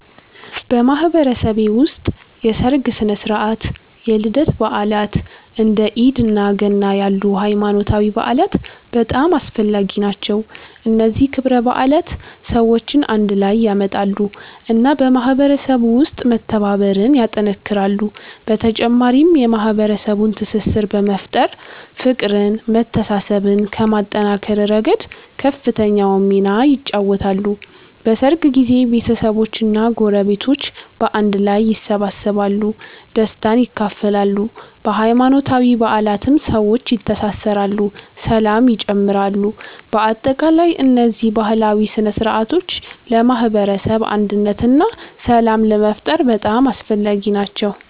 በማህበረሰቤ ውስጥ የሠርግ ሥነ ሥርዓት፣ የልደት በዓላት፣ እንደ ኢድ እና ገና ያሉ ሃይማኖታዊ በዓላት በጣም አስፈላጊ ናቸው። እነዚህ ክብረ በዓላት ሰዎችን አንድ ላይ ያመጣሉ እና በማህበረሰቡ ውስጥ መተባበርን ያጠናክራሉ። በተጨማሪም የማህበረሰቡን ትስስር በመፍጠር፤ ፍቅርን መተሳሰብን ከማጠናከር ረገድ ከፍተኛውን ሚና ይጫወታሉ። በሠርግ ጊዜ ቤተሰቦች እና ጎረቤቶች በአንድ ላይ ይሰበሰባሉ፣ ደስታን ይካፈላሉ። በሃይማኖታዊ በዓላትም ሰዎች ይተሳሰራሉ ሰላም ይጨምራሉ። በአጠቃላይ እነዚህ ባህላዊ ሥነ ሥርዓቶች ለማህበረሰብ አንድነት እና ሰላም ለመፍጠር በጣም አስፈላጊ ናቸው።